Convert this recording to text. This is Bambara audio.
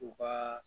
U ka